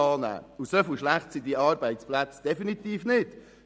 Doch derart schlecht sind diese Arbeitsplätze definitiv nicht.